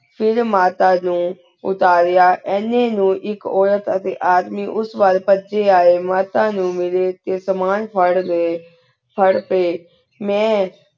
ਫੇਰ ਮਾਤਾ ਨੂ ਉਤਾਰੇਯਾ ਏਨ੍ਯਨ ਨੂ ਏਕ ਉਰਤ ਟੀ ਆਦਮੀ ਉਸ ਵਾਲ ਪਾਜੀ ਆਯ ਮਾਤਾ ਨੂ ਮਿਲੀ ਟੀ ਸੇਮਾਂ ਫੇਰ ਰਹੀ ਫੇਰ ਟੀ ਮੈਂ